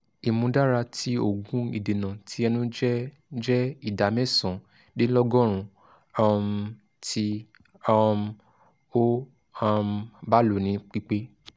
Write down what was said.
imudara ti oogun idena ti ẹnu jẹ jẹ ida mẹsan-dinlọgọrun um ti um o um ba lo ni pipe